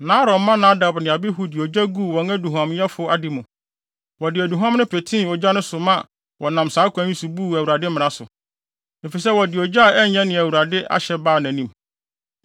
Na Aaron mma Nadab ne Abihu de ogya guu wɔn aduhuamyɛfo ade mu. Wɔde aduhuam no petee ogya no so ma wɔnam saa kwan yi so buu Awurade mmara so, efisɛ wɔde ogya a ɛnyɛ nea Awurade ahyɛ baa nʼanim.